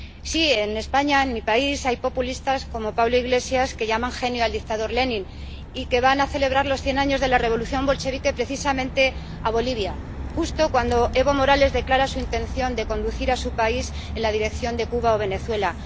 Sí, en España, en mi país, hay populistas como Pablo Iglesias que llaman genio al dictador Lenin y que van a celebrar los cien años de la revolución bolchevique precisamente a Bolivia, justo cuando Evo Morales declara su intención de conducir a su país en la dirección de Cuba o Venezuela.